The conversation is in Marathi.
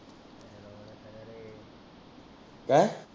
काय?